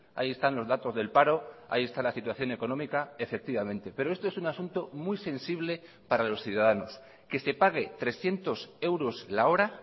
ahí están los datos del paro ahí está la situación económica efectivamente pero esto es un asunto muy sensible para los ciudadanos que se pague trescientos euros la hora